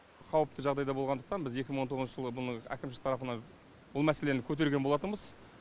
қауіпті жағдайда болғандықтан біз екі мың он тоғызыншы жылы бұны әкімшілік тарапына бұл мәселені көтерген болатынбыз